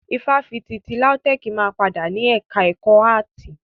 Ifáfitì ti LAUTECH máa padà ni ẹka ẹ̀kọ́ áàtì.